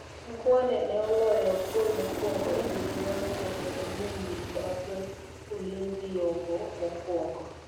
Mukhwana ne oloyo golmokwongo e nyiriria auchiel kendo miyo nyiri mag ulinzi yombo mokuongo